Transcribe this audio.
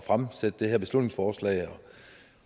fremsætte det her beslutningsforslag